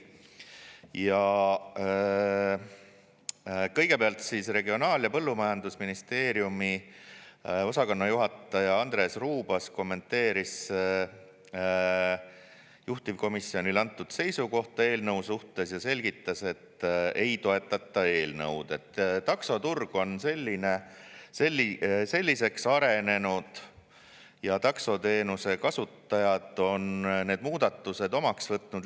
Ja kõigepealt Regionaal‑ ja Põllumajandusministeeriumi osakonnajuhataja Andres Ruubas kommenteeris juhtivkomisjonile antud seisukohta eelnõu suhtes ja selgitas, et ei toetata eelnõu, sest taksoturg on selliseks arenenud ja taksoteenuse kasutajad on need muudatused omaks võtnud.